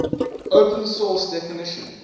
open source definition